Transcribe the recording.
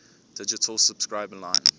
digital subscriber line